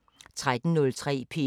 DR P3